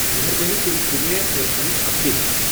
مہربٲنی کٔرِتھ دِ مےٚ الیکشنٕچ اپ ڈیٹ